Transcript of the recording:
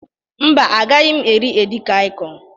Mba, agaghị m eri edikaịkọn.